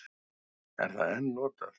Er það enn notað?